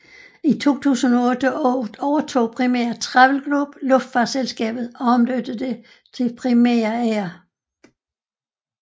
I 2008 overtog Primera Travel Group luftfartsselskabet og omdøbte det til Primera Air